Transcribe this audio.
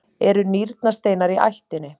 eru nýrnasteinar í ættinni?